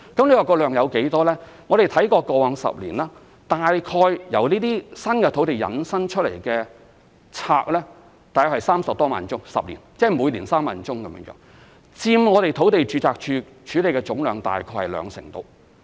至於數量有多少，我們查看過往10年，由這些新土地引申出的註冊 ，10 年間約有30多萬宗，即每年平均3萬宗，在第10年佔土地註冊處處理的總量約兩成。